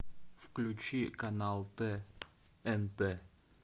включи канал тнт